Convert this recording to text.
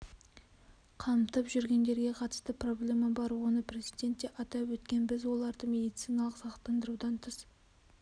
қамтып жүргендерге қатысты проблема бар оны президент те атап өткен біз оларды медициналық сақтандырудан тыс